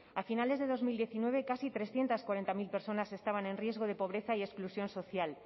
a finales de dos mil diecinueve casi trescientos cuarenta mil personas estaban en riesgo de pobreza y exclusión social